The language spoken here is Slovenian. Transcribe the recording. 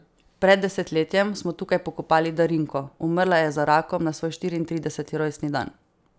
Pred desetletjem smo tukaj pokopali Darinko, umrla je za rakom na svoj štiriintrideseti rojstni dan.